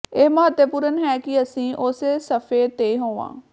ਇਹ ਮਹੱਤਵਪੂਰਨ ਹੈ ਕਿ ਅਸੀਂ ਉਸੇ ਸਫ਼ੇ ਤੇ ਹੋਵਾਂ